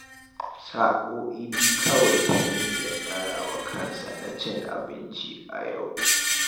Sa'o'i biyu kawai Tanimu ya tsara wa kansa na cin abinci a yau